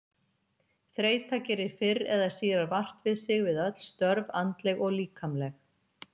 Þreyta gerir fyrr eða síðar vart við sig við öll störf, andleg og líkamleg.